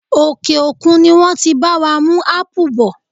Òkè òkun ni wọ́n ti bá wa mú ápù bọ̀.